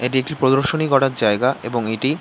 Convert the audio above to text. এটি একটি প্রদর্শনী করার জায়গা এবং এটি--